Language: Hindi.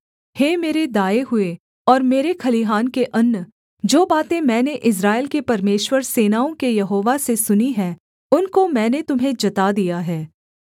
हे मेरे दाएँ हुए और मेरे खलिहान के अन्न जो बातें मैंने इस्राएल के परमेश्वर सेनाओं के यहोवा से सुनी है उनको मैंने तुम्हें जता दिया है